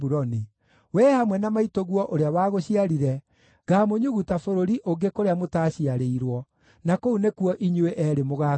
Wee hamwe na maitũguo ũrĩa wagũciarire, ngamũnyuguta bũrũri ũngĩ kũrĩa mũtaciarĩirwo, na kũu nĩkuo inyuĩ eerĩ mũgakuĩra.